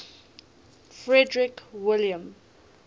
frederick william